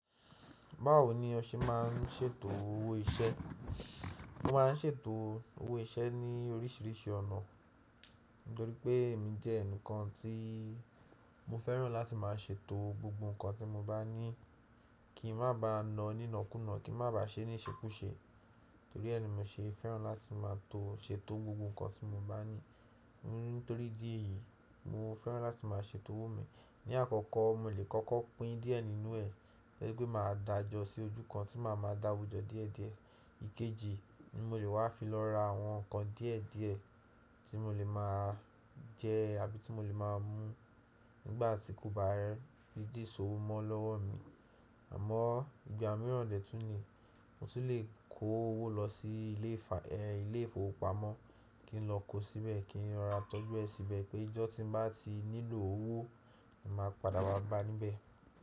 Báwo ni ọ ṣe má n ṣètò owó iṣẹ́? Mo má n ṣètò owó iṣẹ́ ní oríṣiríṣi ọ̀nà, nítorí pé èmi jẹ́ ẹnìkan tí mo fẹ́ràn láti má a ṣètò gbogbo nǹkan tí mo bá ní kí n má bá na nína kúnna, kí n má bá ṣe níṣekúṣe. Nítorí ẹ́ ni mo ṣe fẹ́ràn láti máa ṣètò gbogbo nǹkan tí mo bá ní. Nítorí dí èyí, mo fẹ́ràn láti máa ṣètò owó mi. Ni àkọ́kọ́, mo lè kọ́kọ́ pín díẹ̀ nínú ẹ̀ ẹ́ gbí mà a dájọ sí ojú kan tí mà a máa dáwójọ díẹ̀díẹ̀. Ikeje ni mo lè wá fi lọ ra àwọn nǹkan díẹ̀díẹ̀ tí mo lè máa jẹ àbí tí mo lè máa mú nígbà tí kò bá rẹ́, bí dí sòwò mọ́ lọ́wọ́ mi. Àmọ́ ìgbà mìíràn dè tún ní mo ti lè kó owó lọ sí ilé ìfowópamọ́ kí n lọ kó síbẹ̀ kí n ra tọ́jú ẹ síbẹ̀ pé ijọ́ tí bá ti nílò owó, èmi máa padà ba bá níbẹ̀.